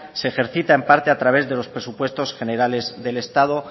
se ejercita en parte a través de los presupuestos generales del estado